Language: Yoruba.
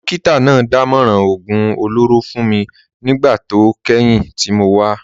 Dókítà náà dámọ̀ràn oògùn olóró fún mi nígbà tó kẹ́yìn tí mo wá